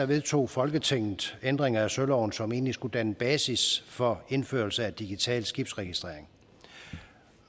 vedtog folketinget ændringer af søloven som egentlig skulle danne basis for indførelse af digital skibsregistrering